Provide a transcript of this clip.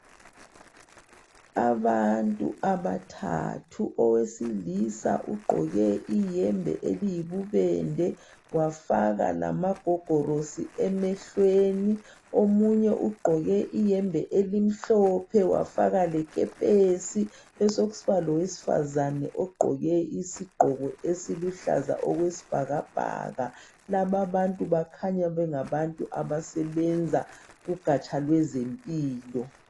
Abantu abathathu owesilisa ugqoke iyembe iliyibubende wafaka lamagogorosi emehlweni , omunye ugqoke iyembe emhlophe wafaka lekepesi sokusiba lewesifazana ogqoke isigqoko esiluhlaza okwesibhakabhaka laba bantu bakhanya basebenza kugatsha lwezempilo.